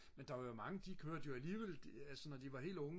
men der var jo mange der kørte jo alligevel da de var helt unge